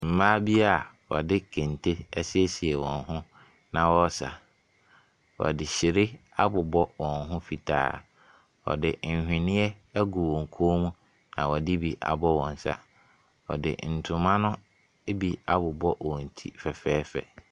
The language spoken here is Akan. Mmaa bi a wɔde kente asiesie wɔn ho na wɔresa. Wɔde hyire abobɔ wɔn ho fitaa. Wɔde nhweneɛ agu wɔn koom na wɔde bi agu wɔn nsa. Wɔde ntoma no bi abobɔ wɔn ti fɛfɛɛfɛ.